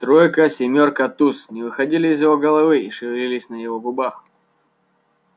тройка семёрка туз не выходили из его головы и шевелились на его губах